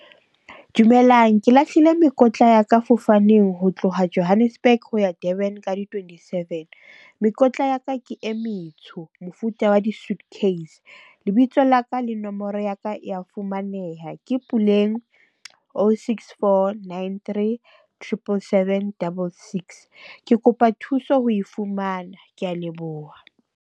Dumelang, ke lahlile mekotla ya ka fofaneng ho tloha Johannesburg ho ya Durban ka di twenty seven. Mekotla ya ka ke e metsho mofuta wa di-suitcase. Lebitso la ka le nomoro ya ka e ya fumaneha ke Puleng, o, six, four, nine, three, tripple seven, double six. Ke kopa thuso ho e fumana. Ke a leboha.